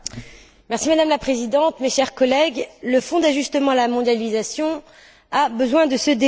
Madame la Présidente, mes chers collègues, le Fonds d'ajustement à la mondialisation a besoin de ce débat.